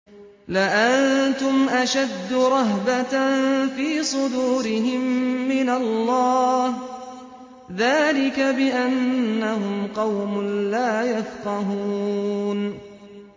لَأَنتُمْ أَشَدُّ رَهْبَةً فِي صُدُورِهِم مِّنَ اللَّهِ ۚ ذَٰلِكَ بِأَنَّهُمْ قَوْمٌ لَّا يَفْقَهُونَ